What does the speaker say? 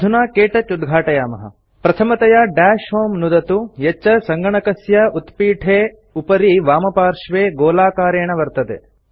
अधुना क्तौच उद्घाटयामः प्रथमतया दश होमे नुदतु यच्च सङ्गणकस्य उत्पीठे उपरि वामपार्श्वे गोलाकारेण वर्तते